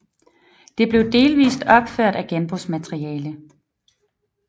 Det blev delvist opført af genbrugsmateriale